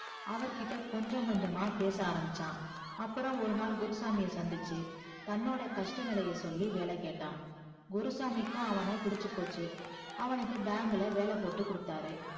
அவர்கிட்ட கொஞ்சம் கொஞ்சமா பேசஆ ரம்பிச்சா அப்பறம் ஒருநாள் குருசாமிய சந்திச்சி தன்னோடைய கஷ்ட நிலைய சொல்லி வேல கேட்டா குருசாமிக்கு அவனுக்கு புடிச்சி போச்சி அவன bank ல வேல போட்டு கொடுத்தாரு